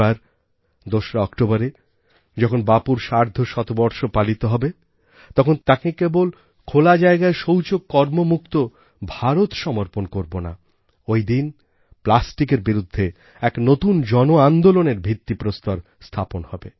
এবার ২রা অক্টোবরে যখন বাপুর সার্ধশতবর্ষ পালিত হবে তখন তাঁকে কেবল খোলা জায়গায় শৌচকর্ম মুক্ত ভারত সমর্পণ করবো না ঐ দিন প্লাস্টিকের বিরুদ্ধে এক নতুন জন আন্দোলনের ভিত্তি প্রস্তর স্থাপন হবে